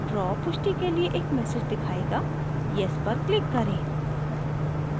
draw पुष्टि के लिए एक message दिखायेगा yes पर click करें